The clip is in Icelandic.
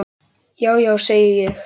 Já, já, segi ég.